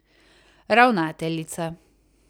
Ravnateljica.